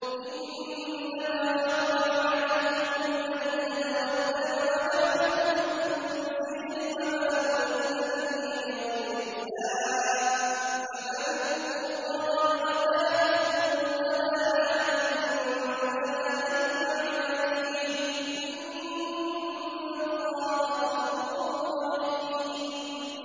إِنَّمَا حَرَّمَ عَلَيْكُمُ الْمَيْتَةَ وَالدَّمَ وَلَحْمَ الْخِنزِيرِ وَمَا أُهِلَّ بِهِ لِغَيْرِ اللَّهِ ۖ فَمَنِ اضْطُرَّ غَيْرَ بَاغٍ وَلَا عَادٍ فَلَا إِثْمَ عَلَيْهِ ۚ إِنَّ اللَّهَ غَفُورٌ رَّحِيمٌ